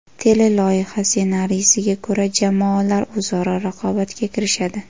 Teleloyiha ssenariysiga ko‘ra, jamoalar o‘zaro raqobatga kirishadi.